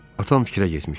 Atam fikrə getmişdi.